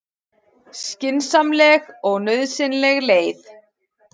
Skynsamleg og nauðsynleg leið